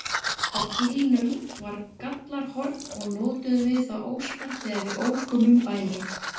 Á bílnum var gjallarhorn og notuðum við það óspart þegar við ókum um bæinn.